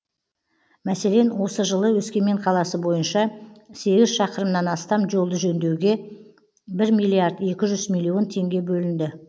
мәселен осы жылы өскемен қаласы бойынша сегіз шақырымнан астам жолды жөндеуге бір миллиард екі жүз миллион теңге бөлінді